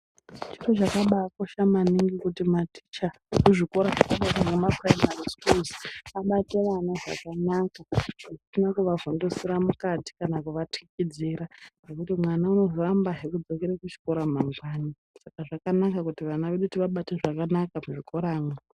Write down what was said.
Zviro zvakabaakosha maningi kuti maticha ezvikora zvakadayi ngemapuraimari sikuru abate ana zvakanaka zvisina kuvavhundusira mukati kana kuvathikidzira ngekuti vana vanozoramba kudzokerazve kuchikora mangwani. Saka zvakanaka kuti vana vabatwe zvakanaka muzvikoramwo.